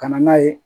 Ka na n'a ye